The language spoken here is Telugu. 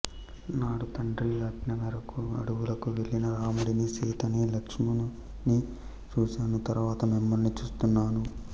నాడు తండ్రి ఆజ్ఞమేరకు అడవులకు వెళ్ళిన రాముడిని సీతను లక్ష్మణుని చూసాను తరువాత మిమ్మల్ని చూస్తున్నాను